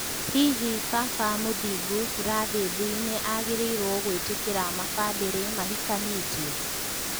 Hihi baba Mũthingu Burathĩthi nĩ agĩrĩirwo gũĩtĩkĩria mabandĩrĩ mahikanĩtie ?